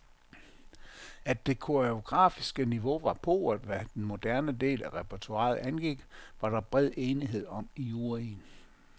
At det koreogafiske niveau var pauvert, hvad den moderne del af repertoiret angik, var der bred enighed om i juryen.